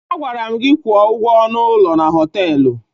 Agwara m gị kwụọ ụgwọ ọnụ ụlọ na họtelụ.